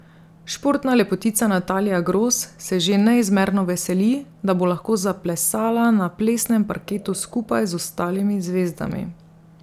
Športna lepotica Natalija Gros se že neizmerno veseli, da bo lahko zaplesala na plesnem parketu skupaj z ostalimi zvezdami.